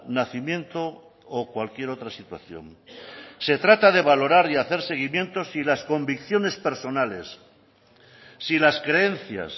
nacimiento o cualquier otra situación se trata de valorar y hacer seguimientos y las convicciones personales si las creencias